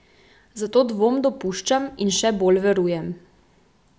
Zato dvom dopuščam in še bolj verujem.